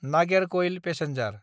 Nagercoil passenger